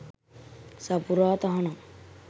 සපුරා තහනම්